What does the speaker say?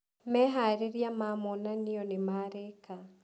Meharĩrĩria ma monanio nimarĩka.